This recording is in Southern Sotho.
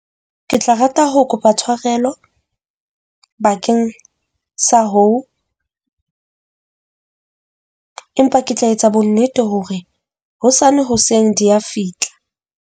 Ke tla rata ho kopa tswarelo bakeng sa hoo, empa ke tla etsa bonnete hore hosane hoseng di a fihla.